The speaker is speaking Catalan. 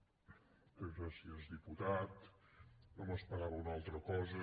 moltes gràcies diputat no m’esperava una altra cosa